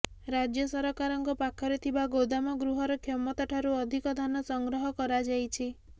ରାଜ୍ୟ ସରକାରଙ୍କ ପାଖରେ ଥିବା ଗୋଦାମ ଗୃହର କ୍ଷମତା ଠାରୁ ଅଧିକ ଧାନ ସଂଗ୍ରହ କରାଯାଇଛି